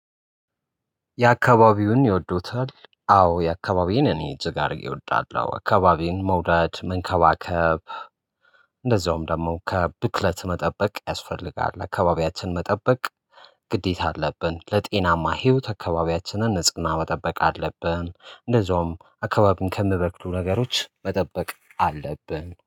የአካባቢውን ይወዱታል አዎ የአካባቢውን እኔ እጅግ አድርጌ እወዳለሁ። አካባቢውን መውደድ መንከባከብ እንደዚሁም ደግሞ ከብክለት መጠበቅ ያስፈልጋል። አካባቢያችን መጠበቅ ግዴታ አለብን። ለጤናማ ህይወት አካባቢያችንን ንጽህና መጠበቅ አለብን። እንደዛውም አካባቢን ከሚበክሉ ነገሮች መጠበቅ አለብን